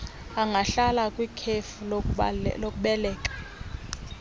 angahlala kwikhefu lokubeleka